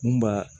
Mun b'a